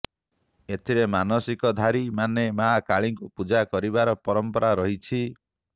ଏଥିରେ ମାନସିକଧାରି ମାନେ ମାଆ କାଳିଙ୍କୁ ପୂଜା କରିବାର ପରମ୍ପରା ରହିଛି